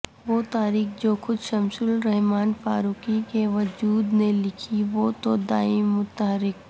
وہ تاریخ جو خود شمس الرحمان فاروقی کے وجود نے لکھی وہ تو دائم متحرک